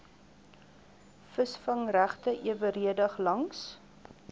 visvangregte eweredig langs